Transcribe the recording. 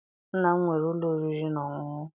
Nna m nwere ụlọ oriri na ọṅụṅụ.